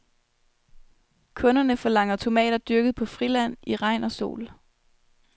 Kunderne forlanger tomater dyrket på friland, i regn og sol.